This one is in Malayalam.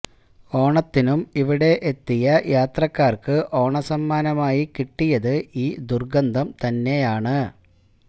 ഓണത്തിനും ഇവിടെ എത്തിയ യാത്രക്കാർക്ക് ഓണസമ്മാനമായി കിട്ടിയത് ഈ ദുർഗന്ധം തന്നെയാണ്